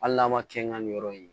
Hali n'a ma kɛ n ka nin yɔrɔ ye